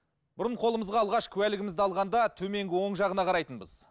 бұрын қолымызға алғаш куәлігімізді алғанда төменгі он жағына қарайтынбыз